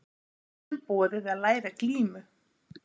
Börnum boðið að læra glímu